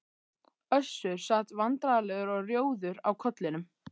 Össur sat vandræðalegur og rjóður á kollinum.